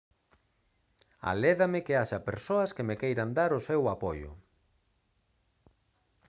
alédame que haxa persoas que me queiran dar o seu apoio